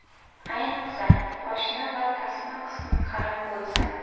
Ayniqsa, poshna va tasma qismi qalin bo‘lsa.